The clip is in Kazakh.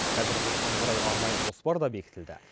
қазір осыған орай арнайы жоспар да бекітілді